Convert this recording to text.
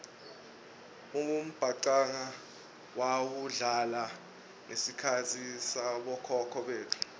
umbhacanga wawudlala ngesikhatsi sabokhokho betfu